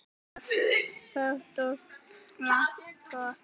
Jóhann: Stutt og laggott?